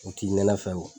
U t'i nɛnɛ fɛ